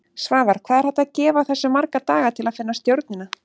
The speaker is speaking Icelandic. Svavar: Hvað er hægt að gefa þessu marga daga til að finna stjórnina?